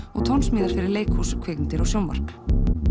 og tónsmíðar fyrir leikhús kvikmyndir og sjónvarp